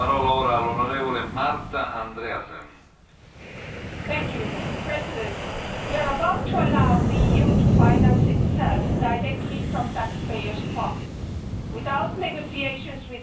Mr President, we are about to allow the EU to finance itself directly from taxpayers' pockets without negotiations with anybody, not even the Council.